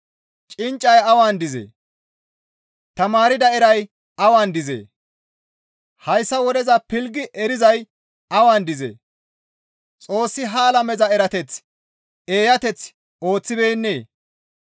Cinccay awan dizee? Tamaarda eray awan dizee? Hayssa wodeza pilggi erizay awan dizee? Xoossi ha alameza erateth eeyateth ooththibeennee?